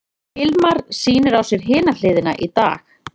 Hilmar sýnir á sér hina hliðina í dag.